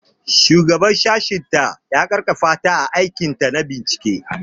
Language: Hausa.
Shugaban sashenta ya ƙarfafa ta a aikinta na bincike.